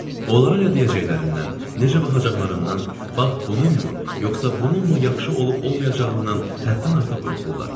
Onlara nə deyəcəklərindən, necə baxacaqlarından, bax bununmu, yoxsa bununmu yaxşı olub-olmayacağından həddən artıq qorxurlar.